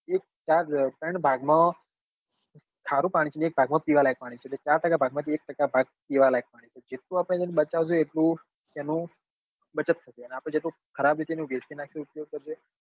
એક ચાર ત્રણ માં ખરું પાણી છે એક ભાગ માં પીવા લાયક પાણી છે તો ચાર ટકા ભાગ માં થી એક ટકા ભાગ પીવા લાયક પાણી છે તો જેટલું આપડે એન બચાવીસું એટલું એનું બચત થશે અને આપડે જેટલું ખરાબ હશે ને વેડફી નાખ્સું તો